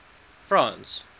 france